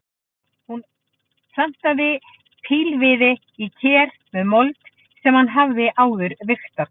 Hann plantaði pílviði í ker með mold sem hann hafði áður vigtað.